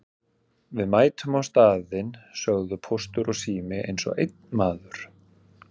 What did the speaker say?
Við mætum á staðinn sögðu Póstur og Sími eins og einn maður.